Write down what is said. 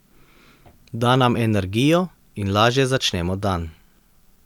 Da nam energijo in lažje začnemo dan.